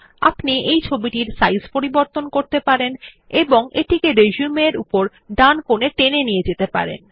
আপনি এই ছবিটির সাইজ পরিবর্তন করতে পারেন এবং এটিকে রিসিউম এর উপরের ডান কোনে টেনে নিয়ে যেতে পারেন